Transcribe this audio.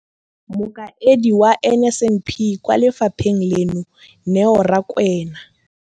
Mokaedi wa NSNP kwa lefapheng leno, Neo Rakwena.